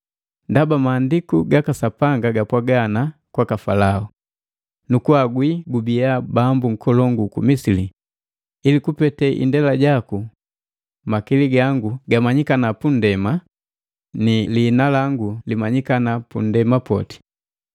Ndaba maandiku gaka Sapanga gapwaga ana kwaka Falao, “Nukuhagwi gubia bambu nkolongu uku Misili ili kupete indela jaku, makili gangu gamanyikana punndema pani ni liina langu limanyikana pu nndema poti.”